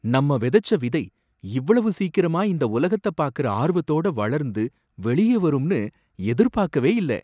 நம்ம வெதச்ச விதை இவ்வளவு சீக்கிரமா இந்த உலகத்த பாக்கற ஆர்வத்தோட வளர்ந்து வெளிய வரும்னு எதிர்பாக்கவே இல்ல!